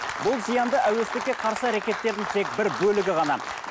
бұл зиянды әуестікке қарсы әрекеттердің тек бір бөлігі ғана